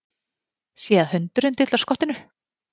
Sé að hundurinn dillar skottinu.